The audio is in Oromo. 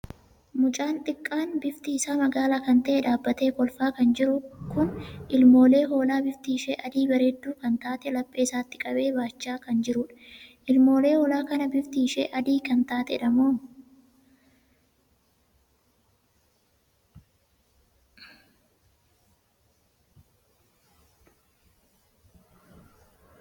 Mucaa xiqqaan bifti isaa magaala kan tahe dhaabbatee kolfaa kan jiru kun ilmoolee hoolaa bifti ishee adii bareedduu kan taatee laphee isaatti qabee baachaa kan jirudha. ilmoolee hoolaa kanaa bifti ishee adii kan taateedhamoo?